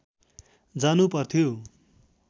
जानु पर्थ्यो